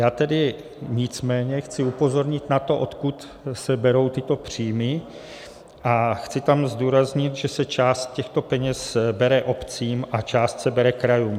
Já tedy nicméně chci upozornit na to, odkud se berou tyto příjmy, a chci tam zdůraznit, že se část těchto peněz bere obcím a část se bere krajům.